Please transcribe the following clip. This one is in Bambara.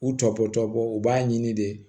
U tɔ bɔtɔ tɔbɔtɔ u b'a ɲini de